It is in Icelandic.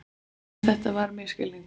En þetta var misskilningur.